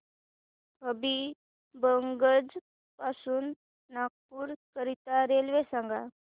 हबीबगंज पासून नागपूर करीता रेल्वे सांगा